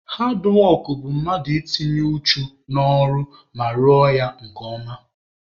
Haadwọk bụ mmadụ ị tinye uchu n'ọrụ ma rụọ ya nke ọma.